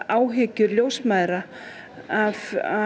áhyggjur ljósmæðra af